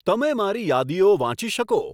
તમે મારી યાદીઓ વાંચી શકો